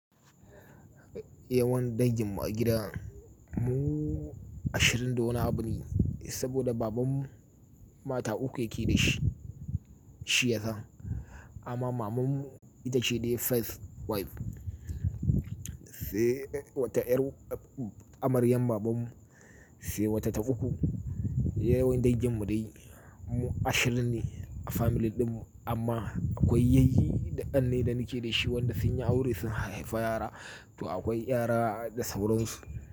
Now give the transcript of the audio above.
Yawan danginmu a gida mu ashirin da nwani abune, saboda babanmu mata uku yake da shi, shi yasa. Amma mamanmu ita ce dai first wife. Sai wata 'yar amaryan babanmu sai wata ta uku. Yawan danginmu dai mu ashirin ne a family dinmu amma akwai yayyi daƙan ne da nake da shi wanda sun yi aure sun hayayafa yara. To akwai yara da sauransu.